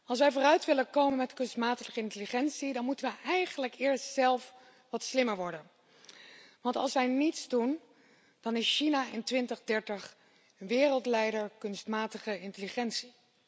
Als wij vooruit willen komen met kunstmatige intelligentie, dan moeten we eigenlijk eerst zelf wat slimmer worden. Want als wij niets doen, dan is China in 2030 wereldleider kunstmatige intelligentie.